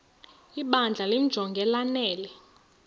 ibandla limjonge lanele